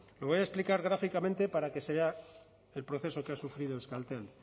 lo voy a explicar gráficamente para que se vea el proceso que ha sufrido euskaltel